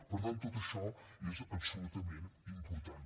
per tant tot això és absolutament important